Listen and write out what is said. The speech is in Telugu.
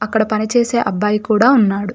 అక్కడ పని చేసే అబ్బాయి కూడా ఉన్నాడు.